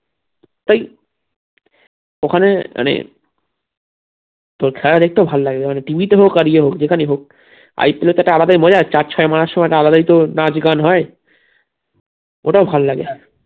তাই ওখানে মানে তো খেলা দেখতে ভাল্লাগে মানে TV তে হোক আর ইয়া হোক যেখানেই হোক IPL যেত একটা আলাদাই মজা চার ছয় মারার সময় আলাদাই তো নাচ গান হয় ওটাও ভাল্লাগে